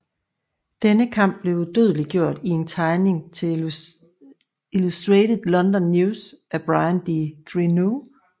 Denne kamp blev udødeliggjort i en tegning til Illustrated London News af Bryan de Grineau